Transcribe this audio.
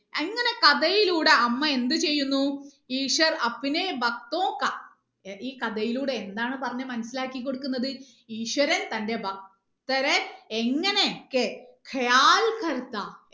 അങ്ങനെ കഥയിലൂടെ അമ്മ എന്ത് ചെയ്യുന്നു ഈശ്വർ ഈ കഥയിലൂടെ എന്താണ് പറഞ്ഞ് മനസിലാക്കി കൊടുക്കുന്നത് ഈശ്വരൻ തന്റെ ഭക്തരെ എങ്ങനെ ഒക്കെ